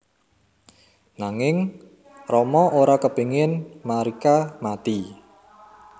Nanging Rama ora kepingin Marica mati